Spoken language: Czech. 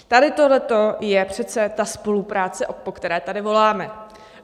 Tady tohleto je přece ta spolupráce, po které tady voláme.